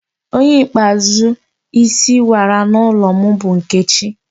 Onye ikpeazụ isi wara n'ụlọ m bụ Nkechi